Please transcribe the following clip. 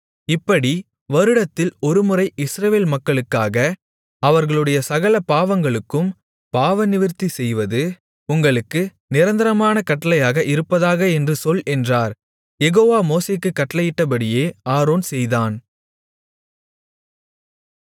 இப்படி வருடத்தில் ஒருமுறை இஸ்ரவேல் மக்களுக்காக அவர்களுடைய சகல பாவங்களுக்கும் பாவநிவிர்த்தி செய்வது உங்களுக்கு நிரந்தரமான கட்டளையாக இருப்பதாக என்று சொல் என்றார் யெகோவா மோசேக்குக் கட்டளையிட்டபடியே ஆரோன் செய்தான்